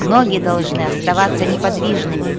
ноги должны оставаться неподвижными